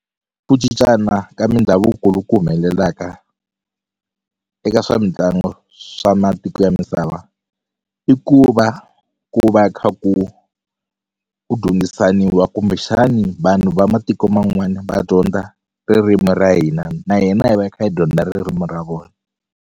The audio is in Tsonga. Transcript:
Ku cincana ka mindhavuko loku humelelaka eka swa mitlangu swa matiko ya misava i ku va ku va kha ku ku dyondzisaniwa kumbexani vanhu va matiko man'wani va dyondza ririmu ra hina na hina hi va hi kha hi dyondza ririmu ra vona.